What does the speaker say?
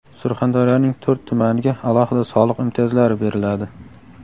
Surxondaryoning to‘rt tumaniga alohida soliq imtiyozlari beriladi.